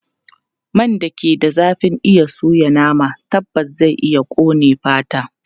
Man da ke da zafin iya soya nama tabbas zai iya ƙone fata.